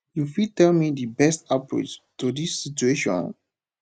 you fit tell me di best approach to dis situation